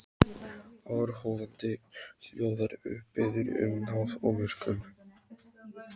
Áhorfandinn hljóðar upp, biður um náð og miskunn.